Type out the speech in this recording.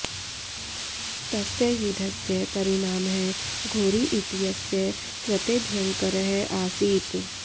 तस्य युद्धस्य परिणामः घोरी इत्यस्य कृते भयङ्करः आसीत्